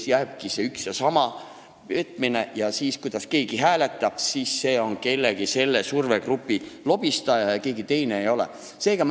Või jääbki üks ja sama, see petmine, ja see, kuidas keegi hääletab, sõltub sellest, kes on selle survegrupi lobistaja ja kes ei ole?